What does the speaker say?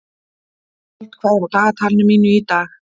Fold, hvað er á dagatalinu mínu í dag?